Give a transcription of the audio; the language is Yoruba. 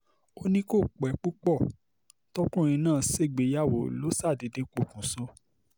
ó ní kó pẹ́ púpọ̀ tọkùnrin náà ṣègbéyàwó ló ṣàdédé pokùṣọ̀